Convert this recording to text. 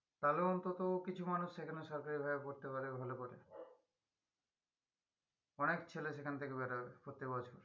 তালে অন্তত কিছু মানুষ সেখানে সরকারি ভাবে পড়তে পারে ভালো করে অনেক ছেলে সেখান থেকে বেরোবে প্রতিবছর